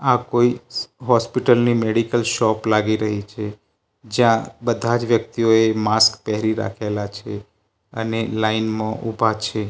આ કોઈ હોસ્પિટલ ની મેડિકલ શોપ લાગી રહી છે જ્યાં બધાજ વ્યક્તિઓએ માસ્ક પેરી રાખેલા છે અને લાઈન માં ઊભા છે.